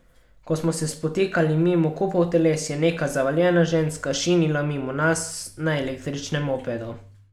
Ko smo se spotikali mimo kupov teles, je neka zavaljena ženska šinila mimo nas na električnem mopedu.